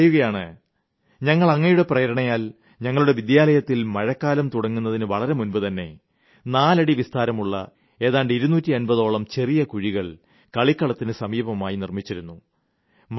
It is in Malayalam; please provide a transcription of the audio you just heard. അദ്ദേഹം പറയുകയാണ് ഞങ്ങൾ അങ്ങയുടെ പ്രേരണയാൽ ഞങ്ങളുടെ വിദ്യാലയത്തിൽ മഴക്കാലം തുടങ്ങുന്നതിനു വളരെ മുൻപുതന്നെ 4 അടി വിസ്താരത്തിലുള്ള ഏതാണ്ട് 250 ഓളം ചെറിയ ചെറിയ കുഴികൾ കളിക്കളത്തിന് സമീപത്തെടുത്തിരുന്നു